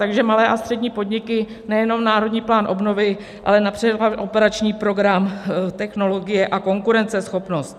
Takže malé a střední podniky, nejenom Národní plán obnovy, ale například operační program Technologie a konkurenceschopnost.